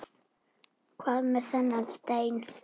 Hvað með þennan stein?